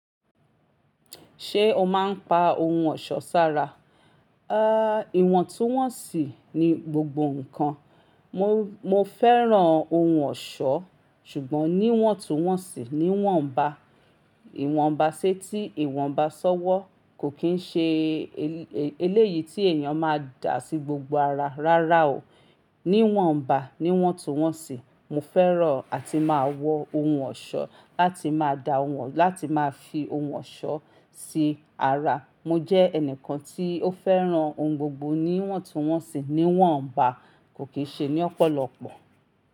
Ṣé o máa ń pa ohun ọ̀ṣọ́ sára? Ìwọ̀ntúnwọ̀nsì ni gbogbo nǹkan. Mo fẹ́ràn ohun ọ̀ṣọ́ ṣùgbọ́n níwọ̀ntúnwọ̀nsì, níwọ̀nba, ìwọ̀nba s'étí ìwọ̀nba s'ọ́wọ́ kò kín ṣe eléyìí tí èèyàn máa dà sí gbogbo ara rárá o. Níwọ̀nba, níwọ̀ntúnwọ̀nsì. Mo fẹ́ràn àti máa wọ ohun ọ̀ṣọ́ láti máa da wọn láti máa fi ohun ọ̀ṣọ́ sí ara. Mo jẹ́ ẹnìkan tí ó fẹ́ràn ohun gbogbo níwọ̀ntúnwọ̀nsì, níwọ̀nba kò kí n ṣe ní ọ̀pọ̀lọpọ̀.